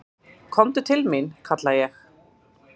"""Komdu til mín, kalla ég."""